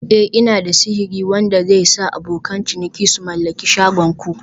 Eh" Ina da sihiri wanda zai sa abokan ciniki su mallaki shagon ku